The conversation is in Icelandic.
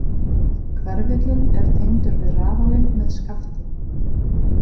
Hverfillinn er tengdur við rafalinn með skafti.